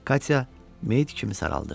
Katya meyt kimi saraldı.